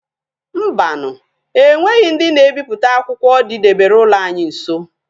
Mbanu e nweghi ndi na ebiputa akwukwo di debere ulo anyi nso